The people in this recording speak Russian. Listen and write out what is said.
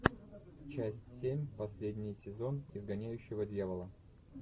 часть семь последний сезон изгоняющего дьявола